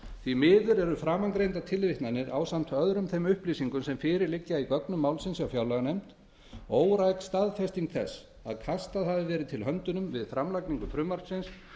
því miður eru framangreindar tilvitnanir ásamt öðrum þeim upplýsingum sem fyrir liggja í gögnum málsins hjá fjárlaganefnd óræk staðfesting þess að höndum hafi verið kastað til við framlagningu frumvarpsins